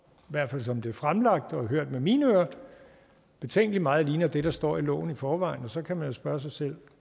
i hvert fald som det er fremlagt og hørt med mine ører betænkelig meget ligner det der står i loven i forvejen og så kan man spørge sig selv